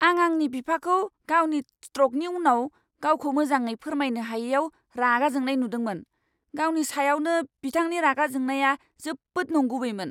आं आंनि बिफाखौ गावनि स्ट्रकनि उनाव गावखौ मोजाङै फोरमायनो हायैआव रागा जोंनाय नुदोंमोन। गावनि सायावनो बिथांनि रागा जोंनाया जोबोद नंगुबैमोन।